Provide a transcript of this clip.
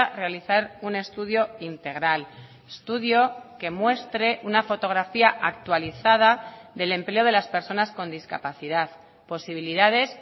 realizar un estudio integral estudio que muestre una fotografía actualizada del empleo de las personas con discapacidad posibilidades